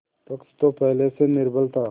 पक्ष तो पहले से ही निर्बल था